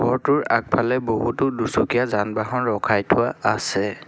ঘৰটোৰ আগফালে বহুতো দুচকীয়া যান বাহন ৰখাই থোৱা আছে।